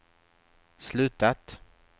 slutat